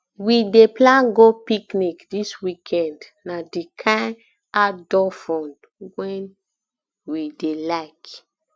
we dey plan go picnic dis weekend na di kain outdoor fun we dey like